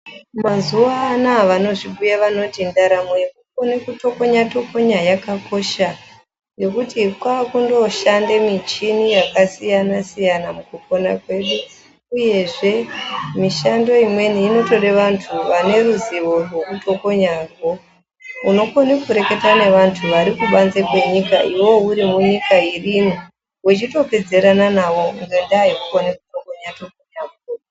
Mazuwanaya vanozvibhuya vanoti ndaramo yekukone kutokonya tokonya yakakosha ngekuti kwakundoshande michini yakasiyana siyana mukupona kwedu uyezve mishando imweni inotode vantu vaneruzivo rwekutokonyarwo. Unokone kureketa nevantu varikubanze kwenyika iwew uri munyika imweni, wechitopedzerana navo ngenda yekukona kutokonya ukoko.